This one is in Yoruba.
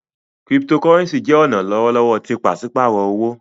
Cryptocurrency jẹ ọna lọwọlọwọ ti paṣipaarọ owo.